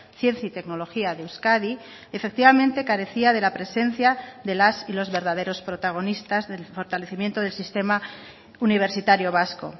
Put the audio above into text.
ciencia y tecnología de euskadi efectivamente carecía de la presencia de las y los verdaderos protagonistas del fortalecimiento del sistema universitario vasco